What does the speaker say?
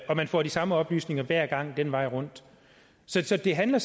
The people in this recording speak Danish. at man får de samme oplysninger hver gang den vej rundt så det handler